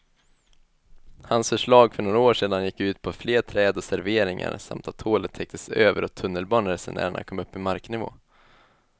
Hans förslag för några år sedan gick ut på fler träd och serveringar samt att hålet täcktes över och tunnelbaneresenärerna kom upp i marknivå.